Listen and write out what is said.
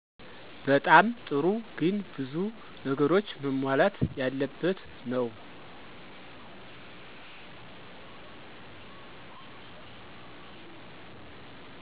በጣም ጥሩ ግን ብዙ ነገሮች መሟላት ያለበት ነው።